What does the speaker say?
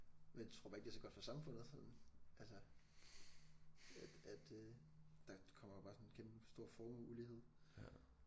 Men tror bare ikke det er så godt for samfundet sådan altså at at øh der kommer bare sådan kæmpestor formueulighed